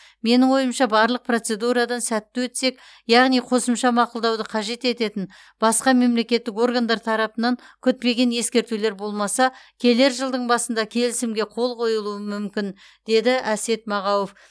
менің ойымша барлық процедурадан сәтті өтсек яғни қосымша мақұлдауды қажет ететін басқа мемлекеттік органдар тарапынан күтпеген ескертулер болмаса келер жылдың басында келісімге қол қойылуы мүмкін деді әсет мағауов